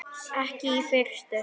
Ekki í fyrstu.